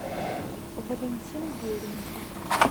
валентин беленький